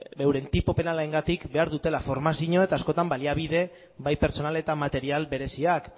euren tipo penalarengatik behar dutela formazioa eta askotan baliabide bai pertsonal eta material bereziak